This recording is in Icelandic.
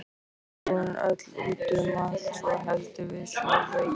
Íbúðin öll út um allt svo heldur við sjóveiki.